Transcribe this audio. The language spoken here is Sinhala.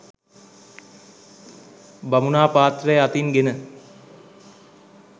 බමුණා පාත්‍රය අතින් ගෙන